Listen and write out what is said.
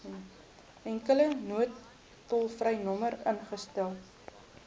enkele noodtolvrynommer ingestel